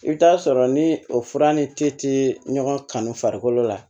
I bɛ taa sɔrɔ ni o fura ni te tɛ ɲɔgɔn kan farikolo la